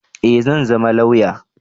Eh zan zama lauya